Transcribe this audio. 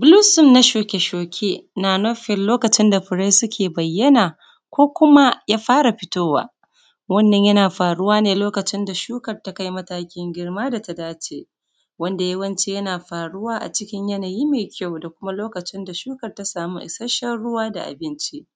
Gulusun na shuke-shuke na nufin lokacin da fure ke bayana ko kuma ya fara fitowa. Wannan yana faruwa ne lokacin da shukan ya kai matakin girma da ta dace, wanda yawanci yana faruwa a cikin yanayin mai kyau, da kuma lokacin da shukan ta samu isashshen ruwa da abinci.